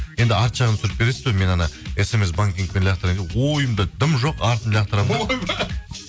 енді арты жағын түсіріп бересіз бе мен смс банкингпен лақтырайын ойымда дым жоқ артын лақтырамын ғой ойбай